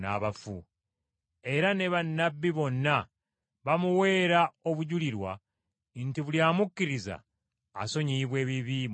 Era ne bannabbi bonna bamuweera obujulirwa nti buli amukkiriza asonyiyibwa ebibi mu linnya lye.”